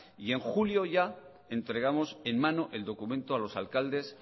y en julio ya entregamos en mano el documento a los alcaldes